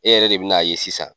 E yɛrɛ de bi na ye sisan.